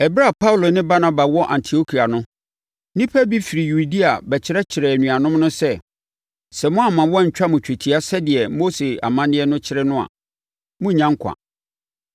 Ɛberɛ a Paulo ne Barnaba wɔ Antiokia no, nnipa bi firi Yudea bɛkyerɛkyerɛɛ anuanom no sɛ, “Sɛ moamma wɔantwa mo twetia sɛdeɛ Mose amanneɛ no kyerɛ no a, morennya nkwa.”